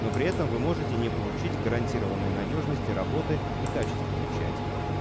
но при этом вы можете не получить гарантированной надёжности работы и качества печати